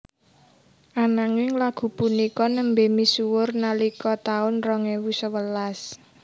Ananging lagu punika nembé misuwur nalika taun rong ewu sewelas